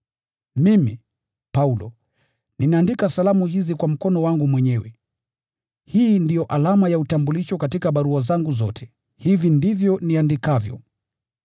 Mimi, Paulo, ninaandika salamu hizi kwa mkono wangu mwenyewe. Hii ndio alama ya utambulisho katika barua zangu zote. Hivi ndivyo niandikavyo.